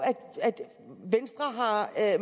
jeg